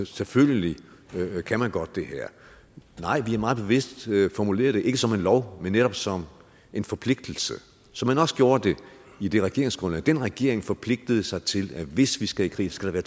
selvfølgelig kan man godt det her nej vi har meget bevidst formuleret det ikke som en lov men netop som en forpligtelse som man også gjorde det i det regeringsgrundlag den regering forpligtede sig til at hvis vi skal i krig skal der